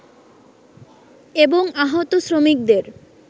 এবং আহত শ্রমিকদের